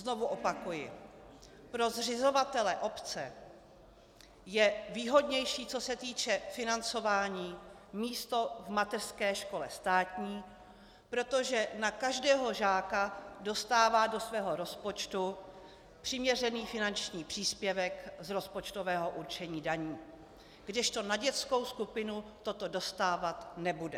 Znovu opakuji: Pro zřizovatele, obce, je výhodnější, co se týče financování, místo v mateřské škole státní, protože na každého žáka dostává do svého rozpočtu přiměřený finanční příspěvek z rozpočtového určení daní, kdežto na dětskou skupinu toto dostávat nebude.